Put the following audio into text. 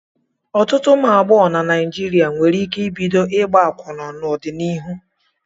Ọtụtụ ụmụ agbọghọ na Naijiria nwere ike ibido ịgba akwụna n'ọdịnihu.